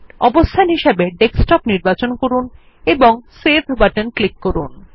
অবস্থান হিসাবে ডেস্কটপ নির্বাচন করুন এবং সেভ বাটনে ক্লিক করুন